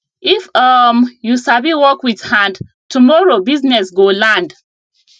if um you sabi work with hand tomorrow business go land